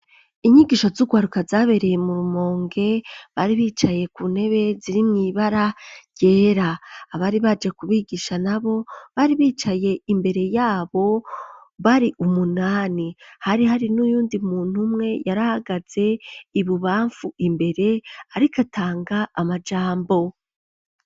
Inyigisho z'ugwaruka zabereye mu rumonge bari bicaye ku ntebe ziri mwibara ryera, abari baje kubigisha nabo bari bicaye imbere yabo bari umunani ,hari hari n'uyundi muntu umwe yarihagaze ibubamfu imbere ariko atanga amajambo.